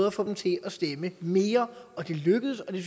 at få dem til at stemme mere det lykkedes og det